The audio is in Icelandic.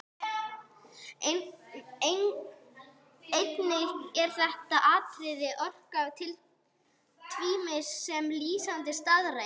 Einnig þetta atriði orkar tvímælis sem lýsandi staðreynd.